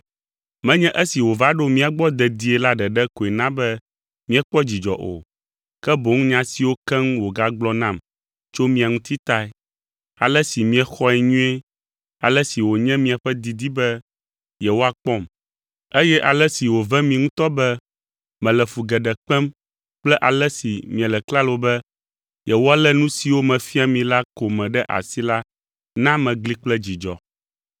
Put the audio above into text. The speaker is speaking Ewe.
Menye esi wòva ɖo mía gbɔ dedie la ɖeɖe koe na be míekpɔ dzidzɔ o, ke boŋ nya siwo keŋ wògagblɔ nam tso mia ŋuti tae; ale si miexɔe nyuie, ale si wònye miaƒe didi be yewoakpɔm, eye ale si wòve mi ŋutɔ be mele fu geɖe kpem kple ale si miele klalo be yewoalé nu siwo mefia mi la ko me ɖe asi la na megli kple dzidzɔ.